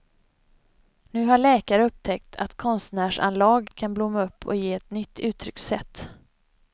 Nu har läkare upptäckt att konstnärsanlag kan blomma upp och ge ett nytt uttryckssätt.